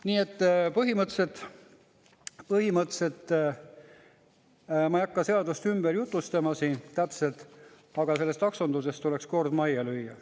Nii et põhimõtteliselt ma ei hakka seadust ümber jutustama siin täpselt, aga taksonduses tuleks kord majja lüüa.